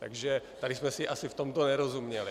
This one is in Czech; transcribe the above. Takže tady jsme si asi v tomto nerozuměli.